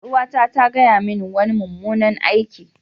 Yar'uwata ta gaya mini wani mummunan aiki.